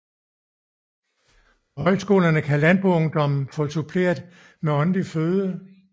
På højskolerne kan landboungdommen få suppleret med åndelig føde